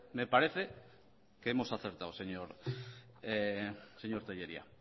me parece que hemos acertado señor tellería